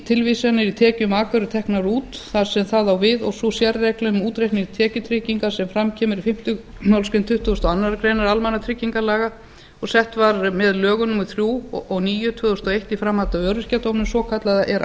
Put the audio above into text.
tilvísanir í tekjur maka eru teknar út þar sem það á við og sú sérregla um útreikning tekjutryggingar sem fram kemur í fimmta málsgrein tuttugustu og aðra grein almannatryggingalaga og sett var með lögum númer þrjú og níu tvö þúsund og eitt í framhaldi af öryrkjadómnum svokallaða er